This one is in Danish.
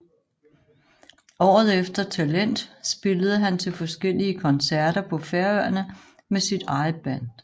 Året efter Talent spillede han til forskellige konserter på Færøerne med sit eget band